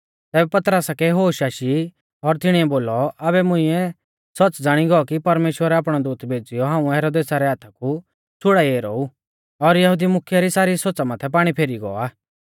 तैबै पतरसा कै होश आशी और तिणीऐ बोलौ आबै मुंइऐ सौच़्च़ ज़ाणी गौ कि परमेश्‍वरै आपणौ दूत भेज़ीयौ हाऊं हेरोदेसा रै हाथा कु छ़ुड़ाई ऐरौ ऊ और यहुदी मुख्यै री सारी सोच़ा माथै पाणी फेरी गौ आ